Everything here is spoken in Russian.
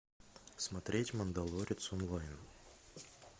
смотреть мандалорец онлайн